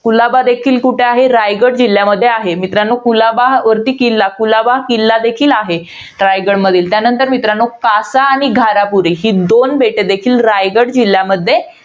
कुलाबा देखील कुठे आहे? रायगड जिल्ह्यामध्ये आहे. मित्रांनो कुलाबावरती किल्ला, कुलाबावर किल्ला देखील आहे. रायगडमधील. त्यानंतर मित्रांनो, कासा आणि घारापुरी ही दोन बेटं देखील रायगड जिल्ह्यामध्ये,